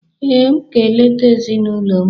Ee, aga m eleta ezinụlọ m.